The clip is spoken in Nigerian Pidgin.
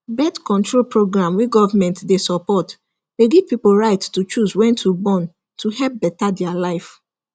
birthcontrol program wey government dey support dey give pipo right to choose wen to born to hepl better their life